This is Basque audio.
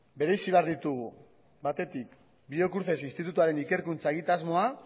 bereizi behar ditugu batetik biocruces institutuaren ikerkuntza egitasmoa